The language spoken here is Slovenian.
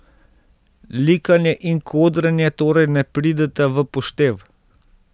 Likanje in kodranje torej ne prideta v poštev.